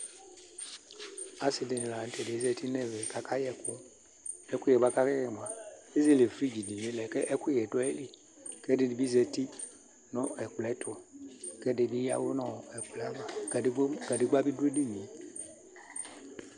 asɩɗɩnɩlanʊ tɛ azatɩnʊ ɛmɛ atanɩ aƙaƴɛ ɛƙʊƴɛ nʊ ɛƙʊƴɛɗjaƴɛ atanɩƙaƴɛ ƙʊ ezele ɛfʊ ɔʊlʊa ɛƙʊƴɛlɛ mɛ ɛƙʊƙʊƴɛ ɓɩ ɔɗʊ aƴɩlɩ ƙʊ alʊɛɗɩnɩɓɩ azatɩ nʊ ɛƙplɔƴɛtʊ ɛɗɩnɩ aƴɛʋʊ nʊ ɛƙplɔƴɛ aʋa ƙʊ ƙaɗegɓa ɔɗʊ eɗɩnŋe